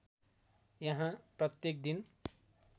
यहाँ प्रत्येक दिन